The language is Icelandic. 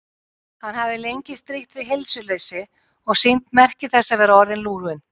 Hann hafði lengi strítt við heilsuleysi og sýnt merki þess að vera orðinn lúinn.